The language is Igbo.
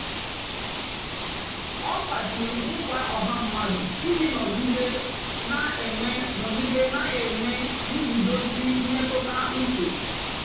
ọ́ kpàchìrí nkwá ọ́há mmádụ́ íjì nọ̀gídé nà-énwé nọ̀gídé nà-énwé ngúzòzí mmétụ́tà úche.